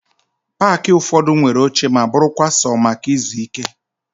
Paakị ụfọdụ nwere oche ma bụrụkwa sọ maka ịzụ ike